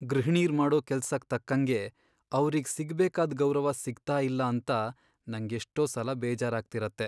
ಗೃಹಿಣೀರ್ ಮಾಡೋ ಕೆಲ್ಸಕ್ ತಕ್ಕಂಗೆ ಅವ್ರಿಗ್ ಸಿಗ್ಬೇಕಾದ್ ಗೌರವ ಸಿಗ್ತಾ ಇಲ್ಲ ಅಂತ ನಂಗೆಷ್ಟೋ ಸಲ ಬೇಜಾರಾಗ್ತಿರತ್ತೆ.